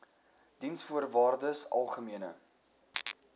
diensvoorwaardesalgemene